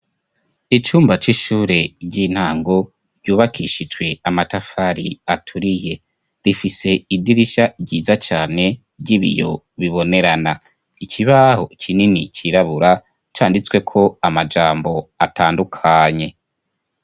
Icumba c'ishure ry'intango ryubakishijwe amatafari aturiye. Rifise idirisha ryiza cane ry'ibiyo, bibonerana. Ikibaho kinini cirabura canditsweko amajambo atandukanye.